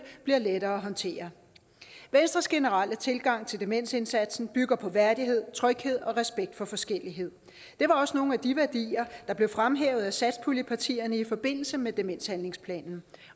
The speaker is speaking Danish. bliver lettere at håndtere venstres generelle tilgang til demensindsatsen bygger på værdighed tryghed og respekt for forskellighed det var også nogle af de værdier der blev fremhævet af satspuljepartierne i forbindelse med demenshandlingsplanen